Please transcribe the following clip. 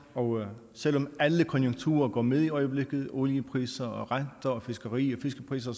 og selv om alle konjunkturerne går med i øjeblikket oliepriser renter fiskeri og fiskepriser